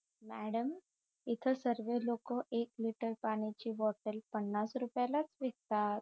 madam इथ सर्वे लोकं एक लिटर पाण्याची बॉटल पन्नास रुपयालाच विकतात